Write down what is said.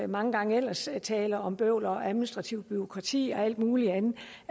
mange gange ellers taler om bøvl og administrativt bureaukrati og alt muligt andet